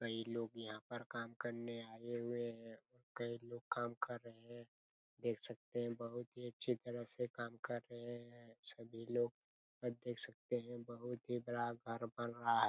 कई लोग यहाँ पर काम करने आये हुए है कई लोग काम कर रहे है देख सकते है बहुत ही अच्छी तरह से काम कर रहे हैं सभी लोग और देख सकते है बहुत ही बड़ा घर बन रहा--